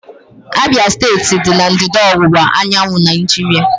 Abia steeti dị na ndịda ọwụwa anyanwụ Naijiria.